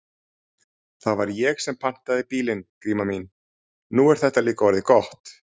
Það var ég sem pantaði bílinn, Gríma mín, nú er þetta líka orðið gott.